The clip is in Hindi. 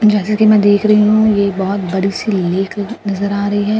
जैसे कि मैं देख रही हूं ये बहोत बड़ी सी लेख ल नजर आ रही है।